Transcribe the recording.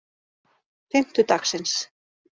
fimmtudagsins